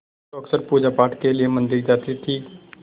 जो अक्सर पूजापाठ के लिए मंदिर जाती थीं